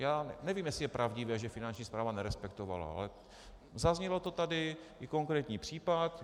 Já nevím, jestli je pravdivé, že Finanční správa nerespektovala, ale zaznělo to tady, i konkrétní případ.